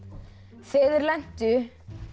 þegar þeir lentu